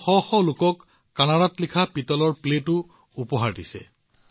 তেওঁ শ শ লোকক কানাড়াত লিখা পিতলৰ প্লেটো প্ৰদান কৰিছে